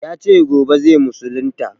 Ya ce gobe zai musulunta.